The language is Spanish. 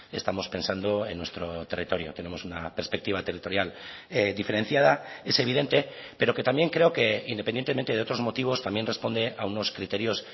estamos pensando en nuestro territorio tenemos una perspectiva territorial diferenciada es evidente pero que también creo que independientemente de otros motivos también responde a unos criterios